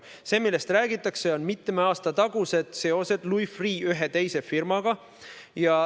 See, millest räägitakse, on mitme aasta tagused Louis Freeh' seosed ühe teise firmaga.